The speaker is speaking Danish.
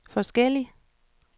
forskellig